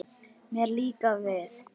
Mér líkar við